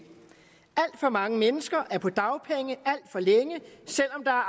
alt for mange mennesker er på dagpenge alt for længe selv om der